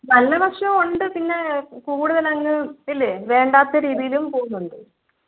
നല്ല വശവുമുണ്ട് പിന്നെ കൂടുതൽ അങ്ങ് വേണ്ടാത്ത രീതിയിലും പോകുന്നുണ്ട്.